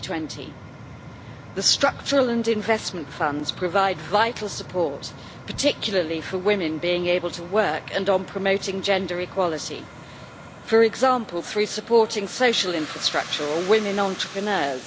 2020. The structural and investment funds provide vital support, particularly for enabling women to work and on promoting gender equality, for example through supporting social infrastructure or women entrepreneurs.